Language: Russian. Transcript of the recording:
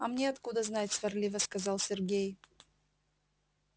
а мне откуда знать сварливо сказал сергей